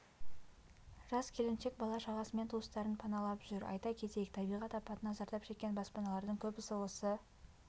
жас келіншек бала-шағасымен туыстарын паналап жүр айта кетейік табиғат апатынан зардап шеккен баспаналардың көбісі осы